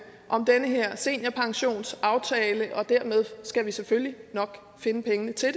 om den her seniorpensionsaftale og dermed skal vi selvfølgelig nok finde pengene til